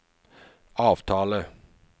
avtale